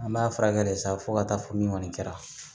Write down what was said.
An b'a furakɛ de sa fo ka taa fɔ min kɔni kɛra